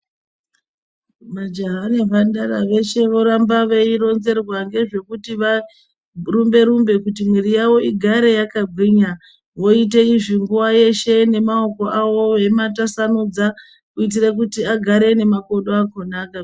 Majaha nemhandara veshe voramba veironzerwa ngezvekuti varumbe rumbe kuti mwiri yavo igare yakagwinya voite izvi nguva yeshe nemakoawo veimatwasanudza kuitire kuti agare nemakodo akhona akagwinya.